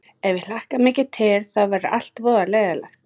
Ef ég hlakka mikið til þá verður allt voða leiðinlegt.